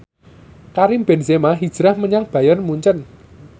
Karim Benzema hijrah menyang Bayern Munchen